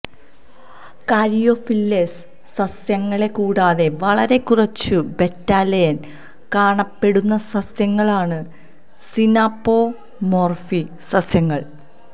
Caryophyllales സസ്യങ്ങളെ കൂടാതെ വളരെ കുറച്ച് ബെറ്റാലെയ്ൻ കാണപ്പെടുന്ന സസ്യങ്ങളാണ് സിനാപോമോർഫി സസ്യങ്ങൾ